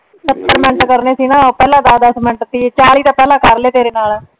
ਸੱਤਰ ਮਿੰਟ ਕਰਨੇ ਸੀ ਨਾ, ਪਹਿਲਾਂ ਦਸ ਦਸ ਮਿੰਟ ਸੀ। ਚਾਲੀ ਤਾਂ ਪਹਿਲਾਂ ਕਰ ਲਏ ਤੇਰੇ ਨਾਲ।